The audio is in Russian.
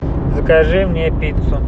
закажи мне пиццу